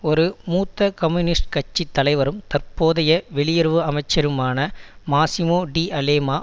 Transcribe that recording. ஒரு மூத்த கம்யூனிஸ்ட் கட்சி தலைவரும் தற்போதைய வெளியுறவு அமைச்சருமான மாசிமோ டி அலேமா